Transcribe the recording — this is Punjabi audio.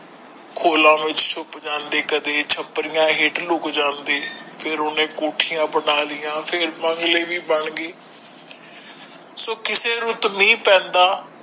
ਖੋਲਾ ਵਿੱਚ ਛੁੱਪ ਜਾਂਦੇ ਕਦੇ ਛਪਰੀਆਂ ਹੇਠ ਲੁੱਕ ਜਾਂਦੇ ਫੇਰ ਉਹਨੇ ਕੋਠੀਆਂ ਵੀ ਬਣਾ ਲਈਆਂ ਫੇਰ ਬੰਗਲੇ ਵੀ ਬਣ ਗਏ ਸੋ ਕਿੱਥੇ ਰੁੱਤ ਮੀਹ ਪੈਂਦਾ।